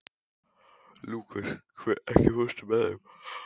Lúkas, ekki fórstu með þeim?